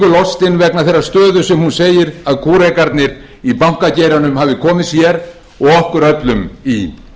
lostin vegna þeirrar stöðu sem hún segir að kúrekarnir í bankageiranum hafi komið sér og okkur öllum í